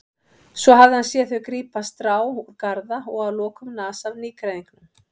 Svo hafði hann séð þau grípa strá úr garða og að lokum nasa af nýgræðingnum.